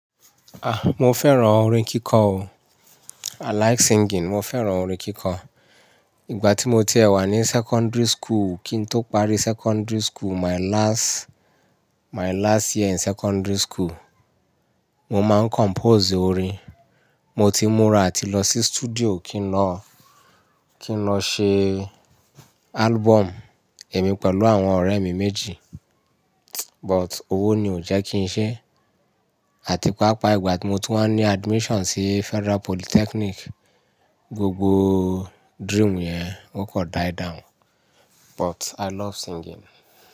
A! Mo fẹ́ràn orin kíkọ o. I like singing. Mo fẹ́ràn orin kíkọ. Ìgbà tí mo ti ẹ̀ wà ní secondary school kí n tó parí secondary school, my last, my last year in secondary school, mo máa ń compose orin. Mo ti múra àti lọ sí studio kí n lọ, kí n lọ ṣe album èmi pẹ̀lú àwọn ọ̀rẹ́ mi méjì. But owó ni ò jẹ́ kí n ṣe. Àti pàápàá ìgbà tí mo ti wá ní admission sí Federal Polytechnic, gbogbo dream yẹn ó kọ die down. But I love singing.